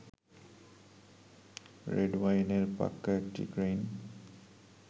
রেডওয়াইনের পাক্কা একটি ক্রেইট